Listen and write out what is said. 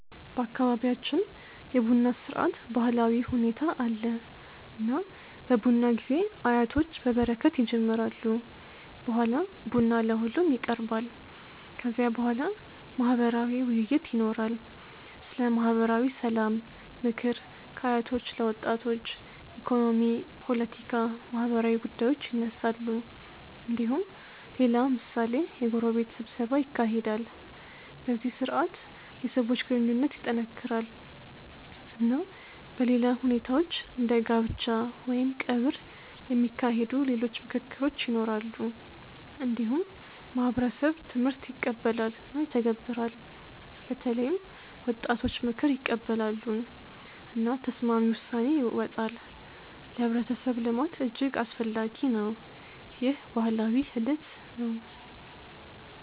በአካባቢያችን የቡና ስርዓት ባህላዊ ሁኔታ አለ። እና በቡና ጊዜ አያቶች በበረከት ይጀምራሉ። በኋላ ቡና ለሁሉም ይቀርባል። ከዚያ በኋላ ማህበራዊ ውይይት ይኖራል። ስለ ማህበራዊ ሰላም፣ ምክር ከአያቶች ለወጣቶች፣ ኢኮኖሚ፣ ፖለቲካ፣ ማህበራዊ ጉዳዮች ይነሳሉ። እንዲሁም ሌላ ምሳሌ የጎረቤት ስብሰባ ይካሄዳል። በዚህ ስርዓት የሰዎች ግንኙነት ይጠናከራል። እና በሌላ ሁኔታዎች እንደ ጋብቻ ወይም ቀብር የሚካሄዱ ሌሎች ምክክሮች ይኖራሉ። እንዲሁም ማህበረሰብ ትምህርት ይቀበላል እና ይተገበራል። በተለይም ወጣቶች ምክር ይቀበላሉ። እና ተስማሚ ውሳኔ ይወጣል። ለህብረተሰብ ልማት እጅግ አስፈላጊ ነው። ይህ ባህላዊ ሂደት ነው።